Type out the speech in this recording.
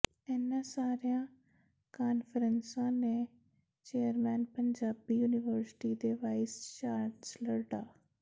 ਇਨ੍ਹਾਂ ਸਾਰੀਆਂ ਕਾਨਫ਼ਰੰਸਾਂ ਦੇ ਚੇਅਰਮੈਨ ਪੰਜਾਬੀ ਯੂਨੀਵਰਸਿਟੀ ਦੇ ਵਾਈਸ ਚਾਂਸਲਰ ਡਾ